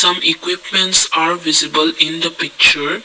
equipments are visible in the picture.